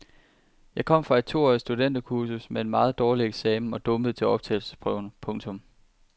Jeg kom fra et toårigt studenterkursus med en meget dårlig eksamen og dumpede til optagelsesprøven. punktum